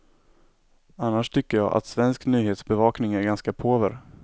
Annars tycker jag att svensk nyhetsbevakning är ganska påver.